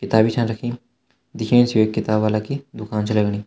किताबी छान रखीं दिखेण से यु एक किताब वाला की दुकान छा लगणी।